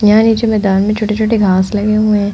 यहाँ नीचे मैदान में छोटे-छोटे घास लगे हुए है।